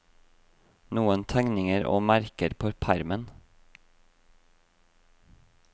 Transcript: Noen tegninger og merker på permen.